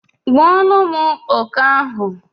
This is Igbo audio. gbuolum oke ahu